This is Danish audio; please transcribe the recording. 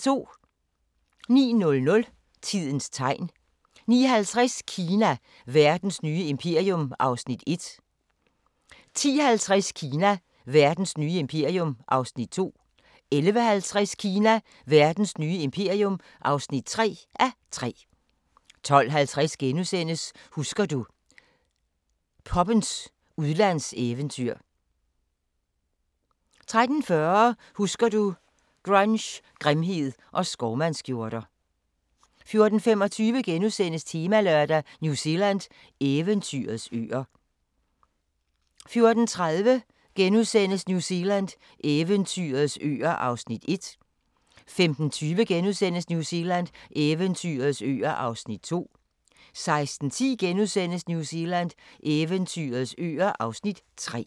09:00: Tidens Tegn 09:50: Kina – verdens nye imperium (1:3) 10:50: Kina – verdens nye imperium (2:3) 11:50: Kina – verdens nye imperium (3:3) 12:50: Husker du – poppens udlandseventyr * 13:40: Husker du – Grunge, grimhed og skovmandsskjorter 14:25: Temalørdag: New Zealand – eventyrets øer * 14:30: New Zealand – eventyrets øer (Afs. 1)* 15:20: New Zealand – eventyrets øer (Afs. 2)* 16:10: New Zealand – eventyrets øer (Afs. 3)*